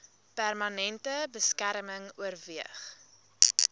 permanente beskerming oorweeg